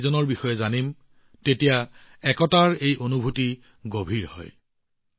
যেতিয়া আমি ইজনে সিজনৰ বিষয়ে জানো আৰু শিকিম তেতিয়া একতাৰ এই অনুভূতি শক্তিশালী হব